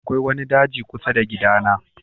Akwai wani daji kusa da gidana.